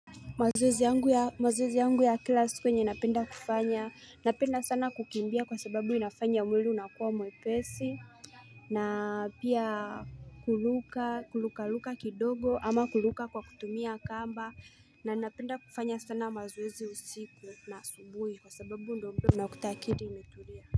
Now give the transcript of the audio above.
Mazoezi yangu ya kila siku yenye napenda sana kufanya napenda sana kukimbia kwa sababu inafanya mwili unakuwa mwepesi na pia kuruka kuruka ruka kidogo ama kuruka kwa kutumia kamba na napenda kufanya sana mazoezi usiku na asubuhi kwa sababu ndo mtuu unakuta akili imetulia.